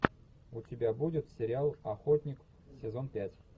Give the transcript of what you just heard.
у тебя будет сериал охотник сезон пять